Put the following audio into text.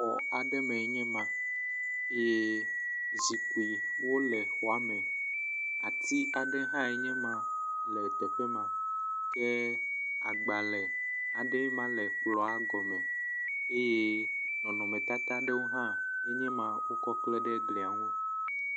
Xɔ aɖe me enye ma ye zikpuiwo le xɔa me. Ati gã aɖe hã enye ma le teƒe ma, ke agbalẽ aɖee ma le kplɔa gɔme eye nɔnɔmetata aɖewo hã enye ma wokɔ kle ɖe gli ŋu.